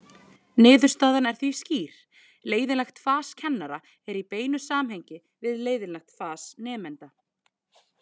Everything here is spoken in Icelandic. Niðurstaðan er því skýr: Leiðinlegt fas kennara er í beinu samhengi við leiðinlegt fas nemenda.